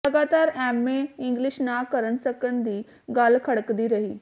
ਲਗਾਤਾਰ MA English ਨਾ ਕਰਨ ਸਕਣ ਦੀ ਗੱਲ ਖਟਕਦੀ ਰਹੀ